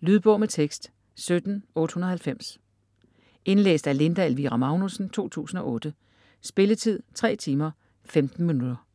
Lydbog med tekst 17890 Indlæst af Linda Elvira Magnussen, 2008. Spilletid: 3 timer, 15 minutter.